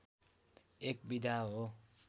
एक विधा हो